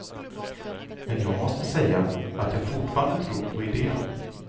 Men jag måste säga att jag fortfarande tror på idén.